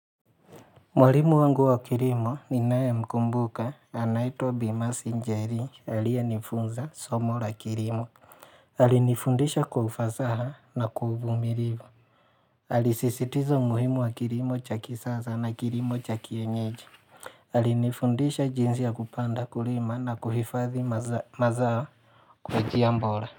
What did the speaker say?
Mwalimu wangu wa kilimo ninaye mkumbuka anaitwa bi Mercy njeri aliaye nifunza somo la kilimo Alinifundisha kwaufasa na kwa uvumilivu Alisisitiza umuhimu wa kilimo cha kisaza na kilimo cha kienyeji Alinifundisha jinsi ya kupanda kulima na kuhifadhi mazao kwa njia bora.